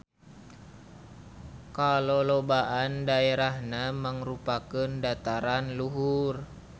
Kalolobaan daerahna mangrupakeun dataran luhur.